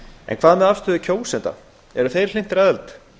en hvað með afstöðu kjósenda eru þeir hlynntir aðild